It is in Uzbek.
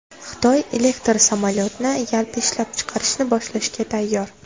Xitoy elektr samolyotni yalpi ishlab chiqarishni boshlashga tayyor.